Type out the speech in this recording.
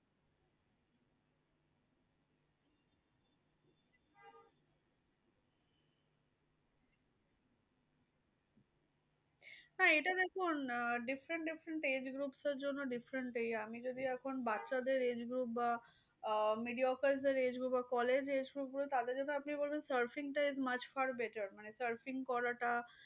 না এইটা দেখুন আহ different different age group টার জন্য different চাই। এই আমি যদি এখন বাচ্চাদের age group বা আহ mediocre age group আর collage age group রা তাদের জন্য আপনি বলবেন surfing much for better মানে surfing করাটা